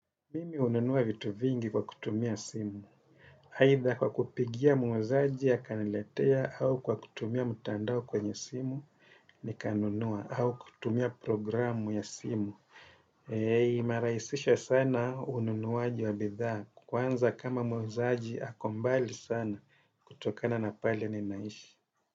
Mimi hununua vitu vingi kwa kutumia simu. Aidha kwa kupigia muuzaji akaniletea au kwa kutumia mtandao kwenye simu nikanunua au kutumia programu ya simu. Imerahisisha sana ununuaji wa bidhaa. Kwanza kama muuzaji ako mbali sana kutokana na pale ninaishi.